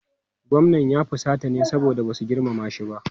Gwamnan ya fusata ne saboda ba su girmama shi ba.